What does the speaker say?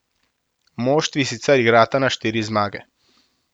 Moštvi sicer igrata na štiri zmage.